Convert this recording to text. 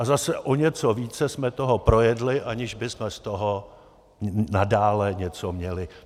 A zase o něco více jsme toho projedli, aniž bychom z toho nadále něco měli.